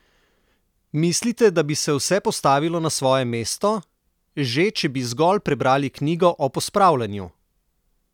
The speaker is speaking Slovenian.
Mislite, da bi se vse postavilo na svoje mesto, že če bi zgolj prebrali knjigo o pospravljanju?